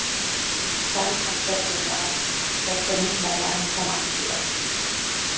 Sagðist hann frekar vilja af föggunum verða en koma aftur í Öxl.